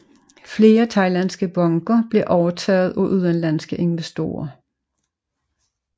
Flere thailandske banker blev overtaget af udenlandske investorer